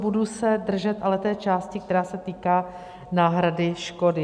Budu se ale držet té části, která se týká náhrady škody.